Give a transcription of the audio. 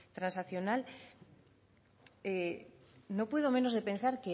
transaccional no puedo menos de pensar